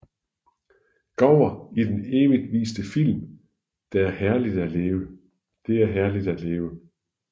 Gower i den evigt viste film Det er herligt at leve